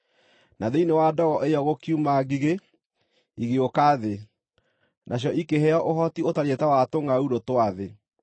Na thĩinĩ wa ndogo ĩyo gũkiuma ngigĩ, igĩũka thĩ, nacio ikĩheo ũhoti ũtariĩ ta wa tũngʼaurũ twa thĩ.